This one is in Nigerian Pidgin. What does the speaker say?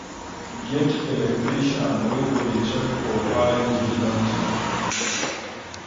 get electrician wey go dey check for power leakage monthly